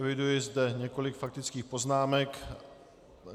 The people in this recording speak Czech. Eviduji zde několik faktických poznámek.